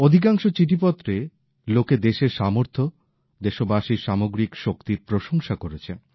অধিকাংশ চিঠিপত্রে লোকে দেশের সামর্থ্য দেশবাসীর সামগ্রিক শক্তির প্রশংসা করেছেন